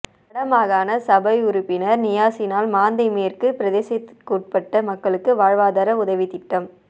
வடமாகாண சபை உறுப்பினர் நியாஸினால் மாந்தை மேற்கு பிரதேசபைக்குட்பட்ட மக்களுக்கு வாழ்வாதார உதவித்திட்டம்